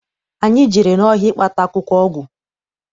Anyị jere n'ọhịa ịkpata akwụkwọ ọgwụ.